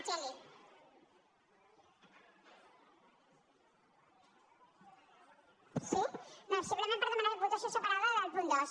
sí no simplement per demanar votació separada del punt dos